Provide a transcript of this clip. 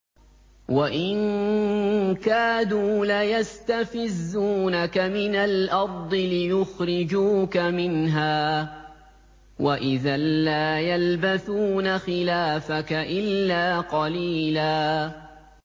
وَإِن كَادُوا لَيَسْتَفِزُّونَكَ مِنَ الْأَرْضِ لِيُخْرِجُوكَ مِنْهَا ۖ وَإِذًا لَّا يَلْبَثُونَ خِلَافَكَ إِلَّا قَلِيلًا